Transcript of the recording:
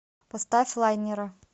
поставь лайнера